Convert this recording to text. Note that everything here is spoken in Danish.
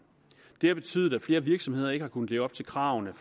det har betydet at flere virksomheder ikke har kunnet leve op til kravene